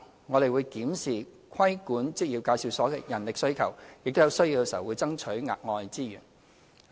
我們會檢視規管職業介紹所的人力需求，並在有需要時爭取額外資源。